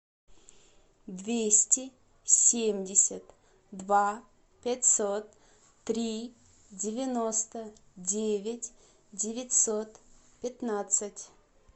двести семьдесят два пятьсот три девяносто девять девятьсот пятнадцать